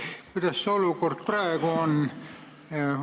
Kuidas see olukord praegu on?